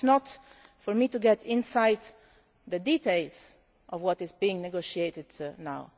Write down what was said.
Now it is not for me to go into the details of what is being negotiated